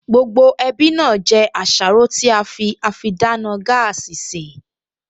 Gbogbo ẹbí náà jẹ àsáró tí á fi àfidáná gáàsì sè